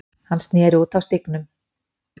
Hann sneri út af stígnum.